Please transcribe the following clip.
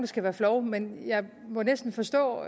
skal være flove men jeg må næsten forstå